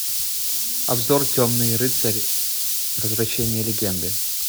обзор темный рыцарь возвращение легенды